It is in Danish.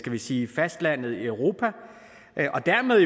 vi sige fastlandet i europa og dermed